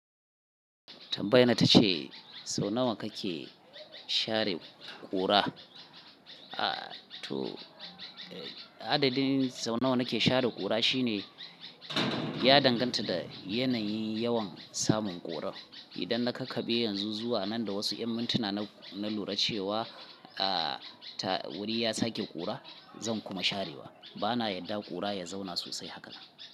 Tambayina ita ce sau nawa kake share ƙura? Toh, adadin sau nawa nake share ƙura shine ya danganta da yanayin yawan samun ƙura. Idan na kakabe yanzu zuwa nan da wasu 'yan mintuna na lura cewa wuri ya sake ƙura, zan kuma sharewa. Bana yadda ƙura ya zauna sosai haka.